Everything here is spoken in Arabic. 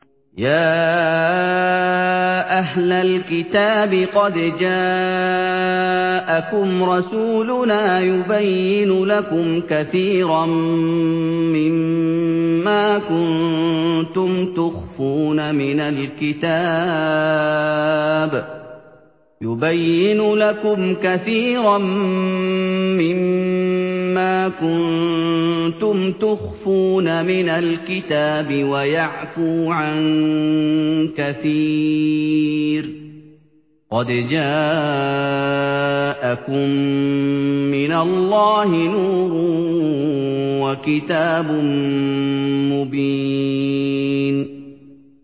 يَا أَهْلَ الْكِتَابِ قَدْ جَاءَكُمْ رَسُولُنَا يُبَيِّنُ لَكُمْ كَثِيرًا مِّمَّا كُنتُمْ تُخْفُونَ مِنَ الْكِتَابِ وَيَعْفُو عَن كَثِيرٍ ۚ قَدْ جَاءَكُم مِّنَ اللَّهِ نُورٌ وَكِتَابٌ مُّبِينٌ